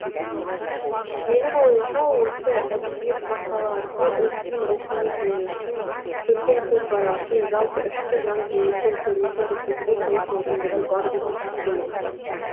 менің ойымша осы әдебиет порталы арқылы ұлттың рухани дүниесін көркем көзқарасын жалпы ішкі жан дүниесінің көрінісін көрсетуге толық мүмкіндігі бар деп есептеймін